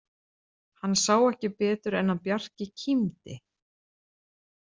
Hann sá ekki betur en að Bjarki kímdi.